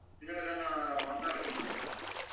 இருங்க sir நான் வந்தவுடனே சொல்றேன் sir